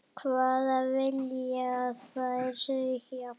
Hvað vilja þær segja?